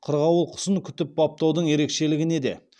қырғауыл құсын күтіп баптаудың ерекшелігі неде